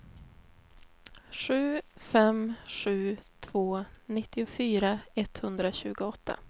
sju fem sju två nittiofyra etthundratjugoåtta